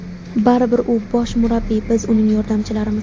Baribir u bosh murabbiy, biz uning yordamchilarimiz.